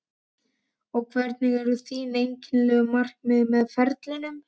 Og hver eru þín endanlegu markmið með ferlinum?